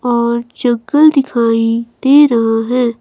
और चक्कल दिखाई दे रहा है।